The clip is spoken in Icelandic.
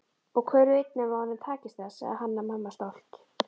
Og hver veit nema honum takist það, sagði Hanna-Mamma stolt.